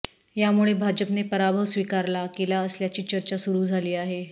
यामुळे भाजपने पराभव स्वीकारला केला असल्याची चर्चा सुरु झाली आहे